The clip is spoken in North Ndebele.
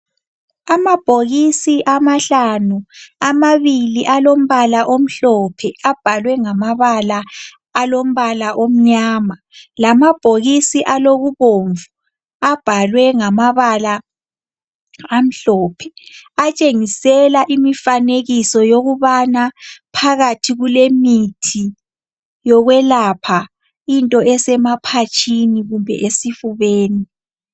Amabhokisi amahlanu, amabili alombala omhlophe abhalwe ngamabala alombala omnyama. Lamabhokisi alokubomvu, abhalwe ngamabala amhlophe. Atshengisela imifanekiso yokubana phakathi kulemithi yokwelapha into esemaphatshini kumbe esifubeni.